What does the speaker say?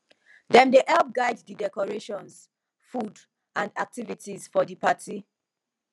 them dey help guide di decorations food and activities for di party